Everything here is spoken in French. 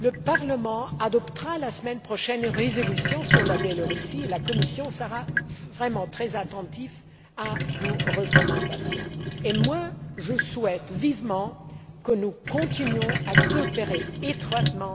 le Parlement adoptera la semaine prochaine une résolution sur le Belarus et la Commission sera vraiment très attentive à vos recommandations, et moi, je souhaite vivement que nous continuions à coopérer étroitement